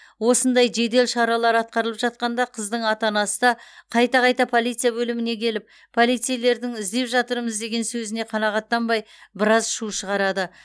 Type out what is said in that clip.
осындай жедел шаралар атқарылып жатқанда қыздың ата анасы да қайта қайта полиция бөліміне келіп полицейлердің іздеп жатырмыз деген сөзіне қанағаттанбай біраз шу шығарады